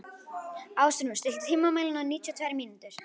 Ásrún, stilltu tímamælinn á níutíu og tvær mínútur.